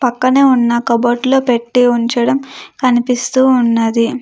పక్కనే ఉన్న కబోర్డులో పెట్టి ఉంచడం కనిపిస్తూ ఉన్నది.